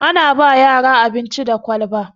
Ana ba yara abinci da kwalba